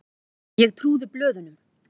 Ég trúði blöðunum.